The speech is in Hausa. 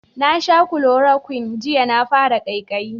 Na sha kulorokwin jiya na fara kaikayi